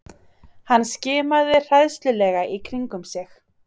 Hann skimaði hræðslulega í kringum sig.